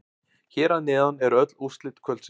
Hér að neðan eru öll úrslit kvöldsins.